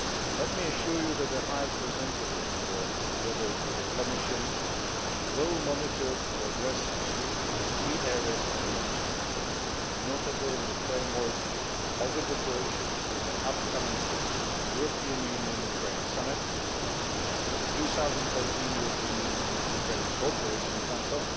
Let me assure you that the High Representative, together with the Commission, will monitor progress achieved in the three areas I have mentioned, notably in the framework of the preparations for the upcoming European Union Ukraine Summit, the 2013 European Union Ukraine Cooperation Council